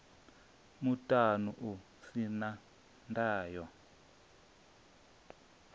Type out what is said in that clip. muṱani u si na ndayo